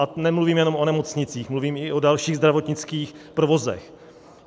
A nemluvím jenom o nemocnicích, mluvím i o dalších zdravotnických provozech.